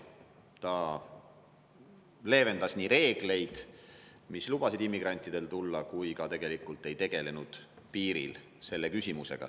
Ta nii leevendas reegleid, mis lubasid immigrantidel tulla, kui ka tegelikult ei tegelenud piiril selle küsimusega.